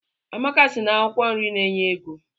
Amaka sị na akwụkwọ nri na-enye ego.